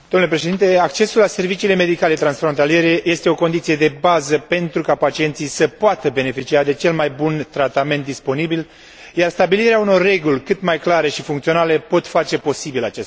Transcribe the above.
Accesul la serviciile medicale transfrontaliere este o condiție de bază pentru ca pacienții să poată beneficia de cel mai bun tratament disponibil, iar stabilirea unor reguli cât mai clare și funcționale poate face posibil acest lucru.